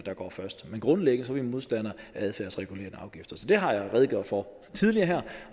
kommer først men grundlæggende er vi modstandere af adfærdsregulerende afgifter så det har jeg redegjort for tidligere her